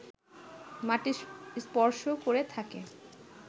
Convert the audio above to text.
মাটি স্পর্শ করে থাকে